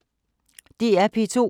DR P2